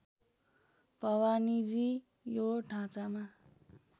भवानीजी यो ढाँचामा